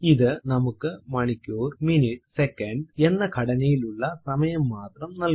ഇത് നമുക്ക് മണിക്കൂർ മിനിറ്റ് സെക്കന്റ് hhmmഎസ്എസ്എന്ന ഘടനയിലുള്ള സമയം മാത്രം നൽകുന്നു